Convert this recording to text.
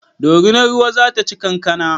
Dorinar ruwa zata ci kankana